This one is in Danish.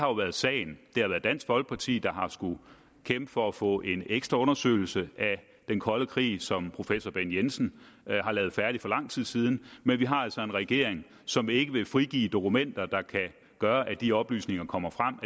været sagen det har været dansk folkeparti der har skullet kæmpe for at få en ekstra undersøgelse af den kolde krig som professor bent jensen har lavet færdig for lang tid siden men vi har altså en regering som ikke vil frigive dokumenter der kan gøre at de oplysninger kommer frem